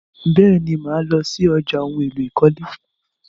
Bẹ́ẹ̀ni, mà lọ sí ọjà ohun-èlò ìkọ́lé.